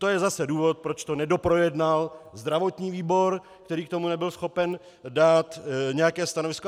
To je zase důvod, proč to nedoprojednal zdravotní výbor, který k tomu nebyl schopen dát nějaké stanovisko.